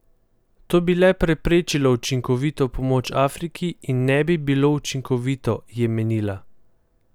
To bi le preprečilo učinkovito pomoč Afriki in ne bi bilo učinkovito, je menila.